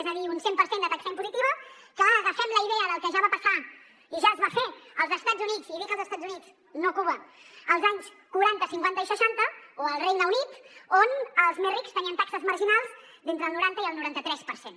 és a dir un cent per cent de taxa impositiva que agafem la idea del que ja va passar i ja es va fer als estats units i dic els estats units no cuba als anys quaranta cinquanta i seixanta o al regne unit on els més rics tenien taxes marginals d’entre el noranta i el noranta tres per cent